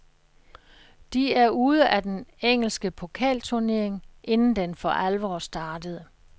De er ude af den engelske pokalturnering, inden den for alvor startede.